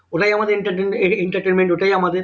ওটাই আমাদের entertainment entertainment ওটাই আমাদের